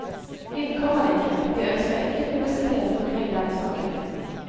Inn kommer de ikke, vi ønsker ikke publisitet omkring denne saken.